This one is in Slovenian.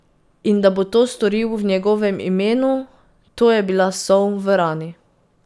In da bo to storil v njegovem imenu, to je bila sol v rani.